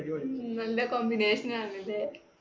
ഉം നല്ല combination ആണല്ലേ.